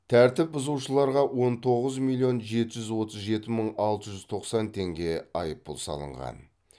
тәртіп бұзушыларға он тоғыз миллион жеті жүз отыз жеті мың алты жүз тоқсан теңге айыппұл салынған